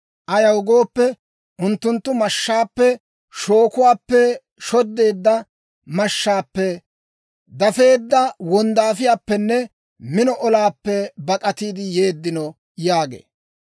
Ayaw gooppe, unttunttu mashshaappe, shookuwaappe shoddeedda mashshaappe, dafeedda wonddaafiyaappenne mino olaappe bak'atiide yeeddino» yaagee.